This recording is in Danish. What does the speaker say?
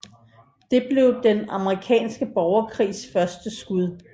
Det blev Den Amerikanske Borgerkrigs første skud